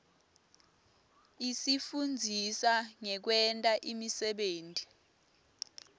isifundzisa ngekwenta imisebenti